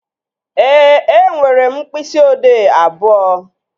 Ee, enwere m mkpịsị odee abụọ